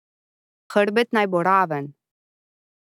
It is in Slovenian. Hrbet naj bo raven.